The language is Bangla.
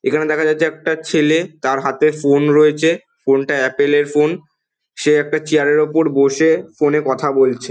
এখানে দেখা যাচ্ছে একটা ছেলে তার হাতে ফোন রয়েছে। ফোন টা অ্যাপেলের এর ফোন। সে একটা চেয়ার এর ওপর বসে ফোন এ কথা বলছে।